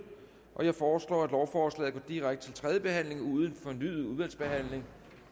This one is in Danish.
jeg foreslår at lovforslaget går direkte til tredje behandling uden fornyet udvalgsbehandling